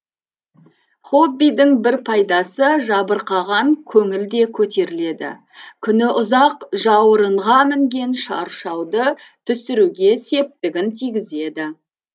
хоббидің бір пайдасы жабырқаған көңіл де көтеріледі күні ұзақ жауырынға мінген шаршауды түсіруге септігін тигізеді